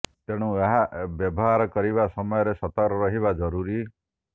ତେଣୁ ଏହା ବ୍ୟବହାର କରିବା ସମୟରେ ସତର୍କ ରହିବା ଜରୁରୀ